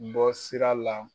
bɔ sira la.